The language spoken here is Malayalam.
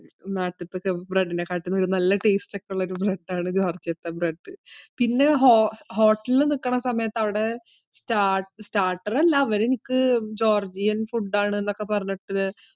നാട്ടിലത്തെ bread ഇനി കാട്ടും നല്ല taste ഒക്കെ ഉള്ള ഒരു bread ആൺ ജോർജിയത്തെ bread പിന്നെ ഹോട്ടലിൽ നിൽക്കുന്ന സമയത്തു അവിടെ starter അല്ല, അവര് എനിക്ക് ജോർജിയൻ ഫുഡ് ആണെന്നൊക്കെ പറഞ്ഞിട്ട്.